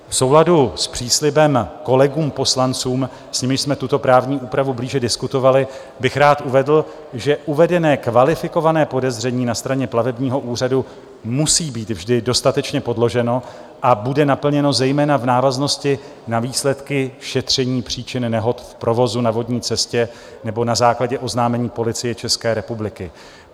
V souladu s příslibem kolegům poslancům, s nimiž jsme tuto právní úpravu blíže diskutovali, bych rád uvedl, že uvedené kvalifikované podezření na straně Plavebního úřadu musí být vždy dostatečně podloženo a bude naplněno zejména v návaznosti na výsledky šetření příčin nehod v provozu na vodní cestě nebo na základě oznámení Policie České republiky.